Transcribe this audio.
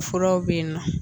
Furaw be yen